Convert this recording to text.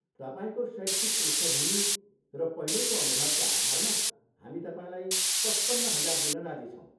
तपाईँको शैक्षिक पृष्टभूमि र पहिलेको अनुभवका आधारमा हामी तपाईँलाई पचपन्न हजार दिन राजी छौँ।